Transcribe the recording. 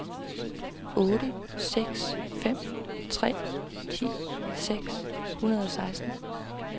otte seks fem tre ti seks hundrede og seksten